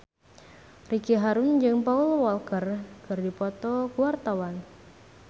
Ricky Harun jeung Paul Walker keur dipoto ku wartawan